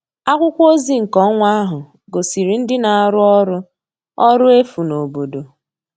Akwụkwọ ozi nke ọnwa ahụ gosiri ndị na-arụ ọrụ ọrụ efu n'obodo